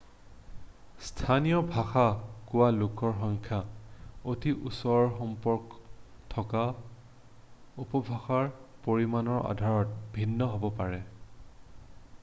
স্থানীয় ভাষা কোৱা লোকৰ সংখ্যা অতি ওচৰ সম্পৰ্ক থকা উপভাষাৰ পৰিমানৰ আধাৰত ভিন্ন হ'ব পাৰে